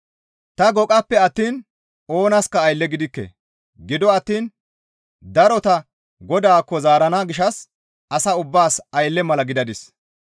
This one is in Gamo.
Ta goqappe attiin oonaska aylle gidikke; gido attiin darota Godaakko zaarana gishshas asa ubbaas aylle mala gidadis.